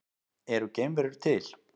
Eru geimverur til?